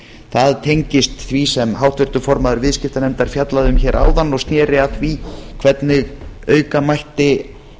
það tengist því sem háttvirtur formaður viðskiptanefndar fjallaði um hér áðan og sneri að því hvernig auka mætti